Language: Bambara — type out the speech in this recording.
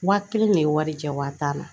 Wa kelen de ye wari jɛ wa tan na